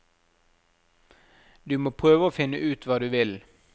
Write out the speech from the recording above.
Du må prøve å finne ut hva du vil.